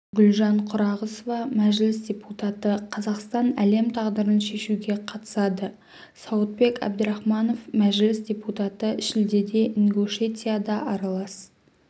гүлжан құрағұсова мәжіліс депутаты қазақстан әлем тағдырын шешуге қатысады сауытбек әбдірахманов мәжіліс депутаты шілдеде ингушетияда аралас